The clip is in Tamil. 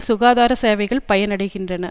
சுகாதார சேவைகள் பயனடைகின்றன